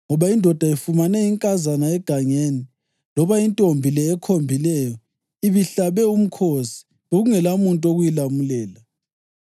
ngoba indoda ifumene inkazana egangeni, loba intombi le ekhombileyo ibihlabe umkhosi, bekungelamuntu wokuyilamulela.